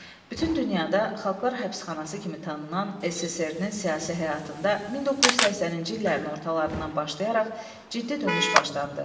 Bütün dünyada xalqlar həbsxanası kimi tanınan SSRİ-nin siyasi həyatında 1980-ci illərin ortalarından başlayaraq ciddi dönüş başlandı.